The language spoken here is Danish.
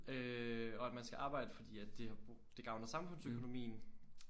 Øh og at man skal arbejde fordi at det gavner samfundsøkonomien